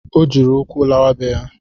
Ọ jiri ụkwụ lawa be ya